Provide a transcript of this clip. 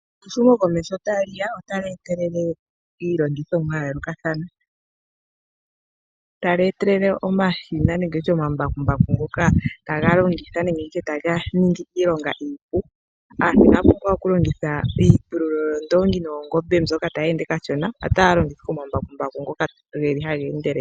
Sho ehumo komesho ta Liya otali etelele ilongithomwa ya yolokathana ,tali etelele omashina nenge oma mbakimbaku Ngoka taga longithwa nenge tushe taga ningi iilonga iipu , aantu Ina pumbwa we oku longitha iipululo yondongi noshowo oongombe otaya longitha ike oma mbakumbaku.